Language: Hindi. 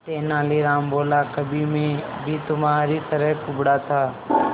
तेनालीराम बोला कभी मैं भी तुम्हारी तरह कुबड़ा था